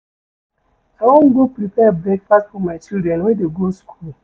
I wan go prepare breakfast for my children wey dey go skool.